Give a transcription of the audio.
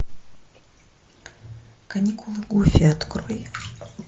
каникулы гуффи открой